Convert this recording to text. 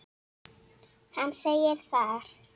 Hann segir þar